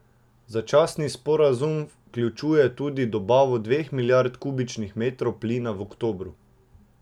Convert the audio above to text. Začasni sporazum vključuje tudi dobavo dveh milijard kubičnih metrov plina v oktobru.